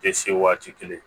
Tɛ se waati kelen